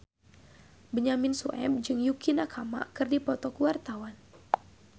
Benyamin Sueb jeung Yukie Nakama keur dipoto ku wartawan